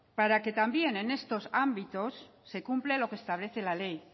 para que también en estos ámbitos se cumpla lo que establece la ley